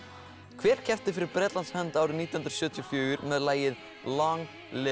hver keppti fyrir Bretlands hönd árið nítján hundruð sjötíu og fjögur með lagið Long Live Love